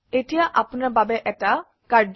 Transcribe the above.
এতিয়া আপোনাৰ বাবে কাম